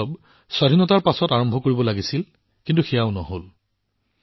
এইটো স্বাধীনতাৰ পিছত আৰম্ভ কৰিব লাগিছিল কিন্তু সেয়াও হব নোৱাৰিলে